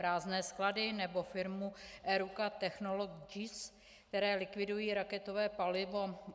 Prázdné sklady nebo firmu Eruca Technologies, které likvidují raketové palivo?